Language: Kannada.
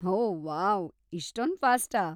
ಓ ವಾವ್‌, ಇಷ್ಟೊಂದ್‌ ಫಾಸ್ಟಾ!